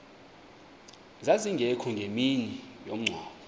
zazingekho ngemini yomngcwabo